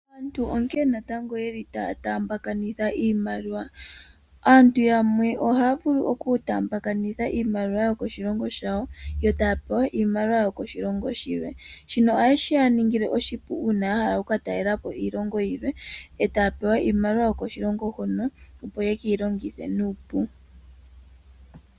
Aantu onkene taya taambakanitha iimaliwa. Aantu yamwe ohaya vulu okutaambakanitha iimaliwa yokoshilongo shawo yo taya pewa iimaliwa yokoshilongo shilwe shono shili nee hashi ya ningile oshipu uuna ya hala oku ka talela po iilongo yilwe e taya pewa iimaliwa yokoshilongo shoka, opo yeke yi longithe nawa.